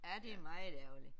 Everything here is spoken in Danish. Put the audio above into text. Ja det er meget ærgerligt